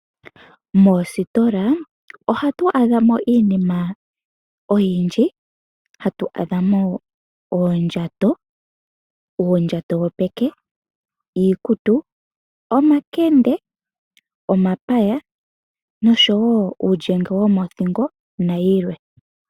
Moositola ohatu a dha mo iinima oyindji, hatu a dha mo oondjato, uundjato wopeke, iikutu, omakende, omapaya nosho woo uulyenge womothingo nayilwe.